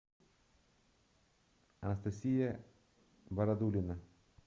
анастасия бородулина